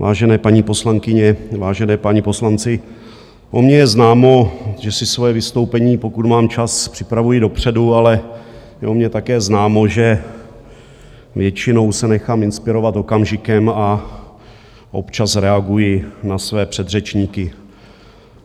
Vážené paní poslankyně, vážení páni poslanci, o mně je známo, že si svoje vystoupení, pokud mám čas, připravuji dopředu, ale je o mně také známo, že většinou se nechám inspirovat okamžikem a občas reaguji na své předřečníky.